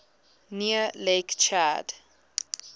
near lake chad